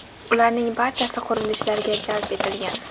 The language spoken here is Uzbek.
Ularning barchasi qurilishlarga jalb etilgan.